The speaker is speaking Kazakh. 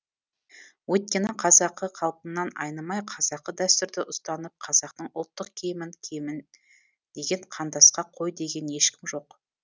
өйткені қазақы қалпымнан айнымай қазақы дәстүрді ұстанып қазақтың ұлттық киімін киемін деген қандасқа қой деген ешкім жоқ